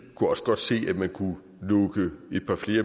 kunne også godt se at man kunne lukke et par